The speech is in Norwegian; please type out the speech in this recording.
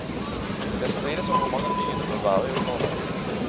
Det strides om hvor mange dyr det bør være i området.